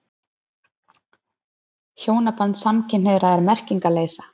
Hjónaband samkynhneigðra er merkingarleysa.